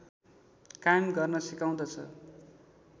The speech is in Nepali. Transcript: कायम गर्न सिकाउँदछ